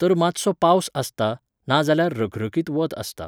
तर मातसो पावस आसता, ना जाल्यार रखरखीत वत आसता.